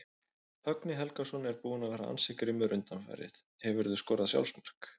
Högni Helgason er búinn að vera ansi grimmur undanfarið Hefurðu skorað sjálfsmark?